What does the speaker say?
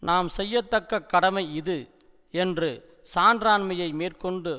நாம் செய்யத்தக்க கடமை இது என்று சான்றாண்மையை மேற்கொண்டு